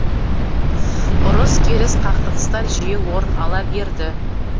ұрыс керіс қақтығыстар жиі орын ала берді